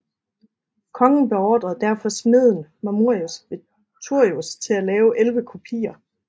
Kongen beordrede derfor smeden Mamurius Veturius til at lave 11 kopier